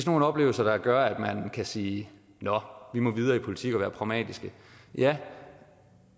nogle oplevelser der gør at man kan sige nå vi må videre i politik og være pragmatiske ja